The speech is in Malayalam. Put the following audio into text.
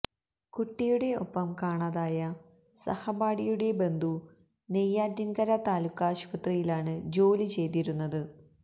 കുട്ടിയുടെ ഒപ്പം കാണാതായ സഹപാഠിയുടെ ബന്ധു നെയ്യാറ്റിന്കര താലൂക്കാശുപത്രിയിലാണ് ജോലി ചെയ്തിരുന്നത്